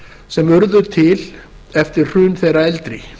sem urðu til eftir hrun þeirra eldri